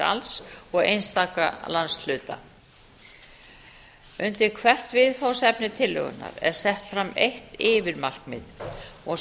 alls og einstaka landshluta undir hvert viðfangsefni tillögunnar er sett fram eitt yfirmarkmið og